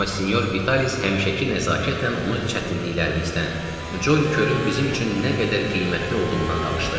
Amma sinyor Vitalis həmişəki nəzakətlə onu çətinliklərimizdən, Colly körün bizim üçün nə qədər qiymətli olduğundan danışdı.